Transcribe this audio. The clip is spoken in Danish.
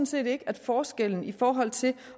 set ikke at forskellen i forhold til